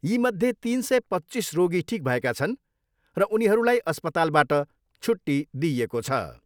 यीमध्ये तिन सय पच्चिस रोगी ठिक भएका छन् र उनीहरूलाई अस्पतालबाट छुट्टी दिइएको छ।